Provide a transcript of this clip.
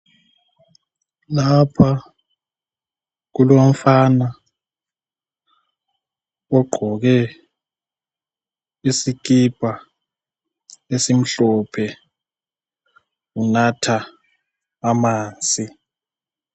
Lapha kulomfana ogqoke isikipa esimhlophe, unatha amanzi.